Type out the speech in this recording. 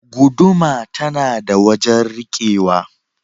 Guuduma tana da wajen rikewa.